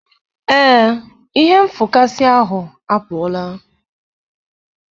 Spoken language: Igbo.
ee, ihe nfụkasị ahụ apụọla.